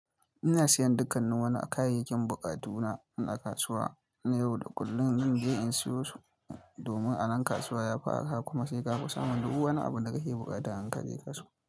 Ina siyan dukkanni wani kayayyakin buƙatu na, ina kasuwa na yau da kullum din je in siyo su domin a nan kasuwa yafi arha kuma sai kafi saman dub wani abun da kake buƙata in ka je kasuwa.